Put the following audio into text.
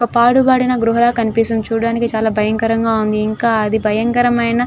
పాడుబడిన గుహలాగా కనిపిస్తుంది చూడడానికి చాలా భయంకరంగా ఉంది ఇంక అది భయంకరమైన --